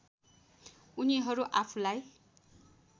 उनीहरू आफुलाई